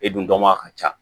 E dun dɔnbaga ka ca